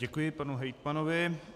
Děkuji panu hejtmanovi.